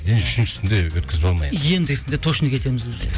үшіншісінде өткізіп алма енді ендігісінде точно кетеміз уже